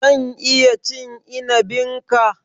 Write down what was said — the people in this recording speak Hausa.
Zan iya cin inibin ka?